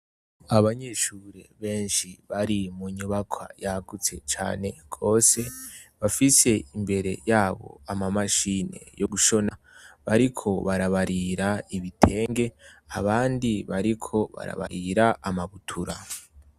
Abanyeshuri beshi bari mu nyubakwa yagutse cane gose bafise imbere yabo ama mashine yo gushona bariko barabarira ibitenge abandi bariko barabarira ama butura.